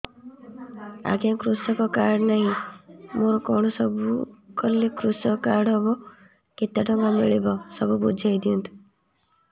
ଆଜ୍ଞା କୃଷକ କାର୍ଡ ନାହିଁ ମୋର କଣ ସବୁ କଲେ କୃଷକ କାର୍ଡ ହବ କେତେ ଟଙ୍କା ମିଳିବ ସବୁ ବୁଝାଇଦିଅନ୍ତୁ